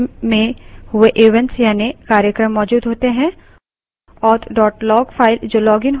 एक log file में system में हुए events यानि कार्यक्रम मौजूद होते हैं